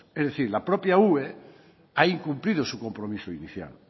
es decir la propia ue veintiocho ha incumplido su compromiso inicial